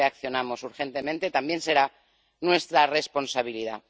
Si no reaccionamos urgentemente, también será nuestra responsabilidad.